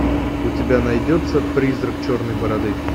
у тебя найдется призрак черной бороды